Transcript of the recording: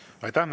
Aitäh!